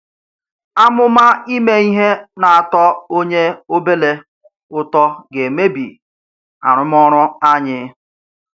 Àmụ̀ma ìmè ihe nà-àtò ònyè ọ̀bèlè ùtọ gà-emèbì àrụ̀mọọrụ̀ anyị.